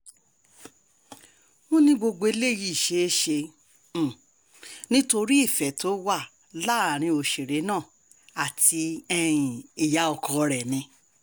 wọ́n ní gbogbo eléyìí ṣeé ṣe um nítorí ìfẹ́ tó wà láàrin òṣèré náà àti um ìyá ọkọ rẹ̀ ni